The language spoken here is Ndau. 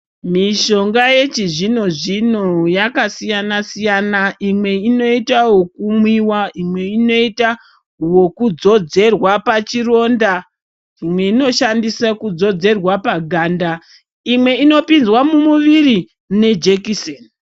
Mishonga yechizvino-zvino yakasiyana-siyana. Imwe inoita wekumwiwa, imwe inoita wokudzodzerwa pachironda. Imwe inoshandiswe kudzodzerwa paganda. Imwe inopinzwa mumuviri nejekiseni.